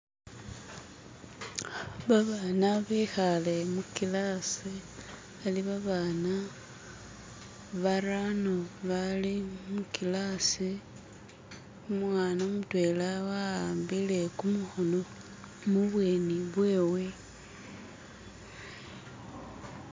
Babana bekhale mukilasi, bali babana barano bali mukilasi. Umwana mutwena awambile kumukhono mu bweni bwewe